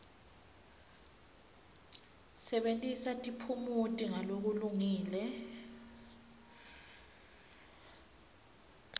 sebentisa tiphumuti ngalokulungile